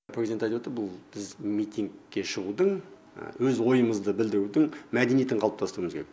президент айтып отыр бұл біз митингке шығудың өз ойымызды білдірудің мәдениетін қалыптастыруымыз керек